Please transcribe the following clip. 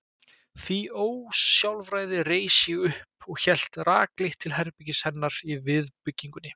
því ósjálfræði reis ég upp og hélt rakleitt til herbergis hennar í viðbyggingunni.